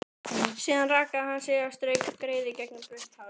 Síðan rakaði hann sig og strauk greiðu gegnum blautt hárið.